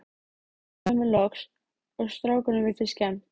Ég jafnaði mig loks og strákunum virtist skemmt.